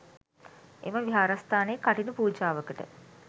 එම විහාරස්ථානයේ කඨින පූජාවකට